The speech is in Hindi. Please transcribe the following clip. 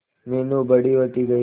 मीनू बड़ी होती गई